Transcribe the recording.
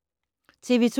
TV 2